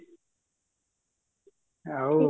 ଆଉ